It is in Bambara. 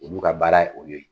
Olu ka baara ye o ye.